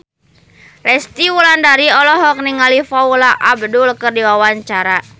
Resty Wulandari olohok ningali Paula Abdul keur diwawancara